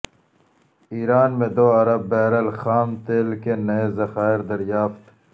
ایران میں دو ارب بیرل خام تیل کے نئے ذخائر دریافت